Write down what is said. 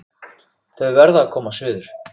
Þau verða að koma suður!